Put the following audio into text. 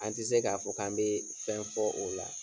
An ti se k'a fɔ k'an bee fɛn fɔ o la.